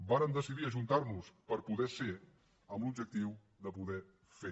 vàrem decidir ajuntarnos per poder ser amb l’objectiu de poder fer